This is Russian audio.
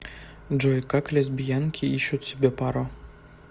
джой как лесбиянки ищут себе пару